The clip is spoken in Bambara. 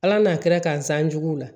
Ala n'a kɛra k'an san jugu la